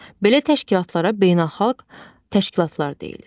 Belə təşkilatlara beynəlxalq təşkilatlar deyilir.